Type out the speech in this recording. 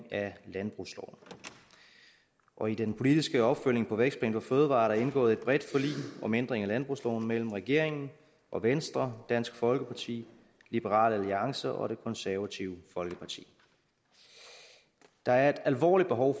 af landbrugsloven og i den politiske opfølgning på vækstplan for fødevarer er der indgået et bredt forlig om ændring af landbrugsloven mellem regeringen og venstre dansk folkeparti liberal alliance og det konservative folkeparti der er et alvorligt behov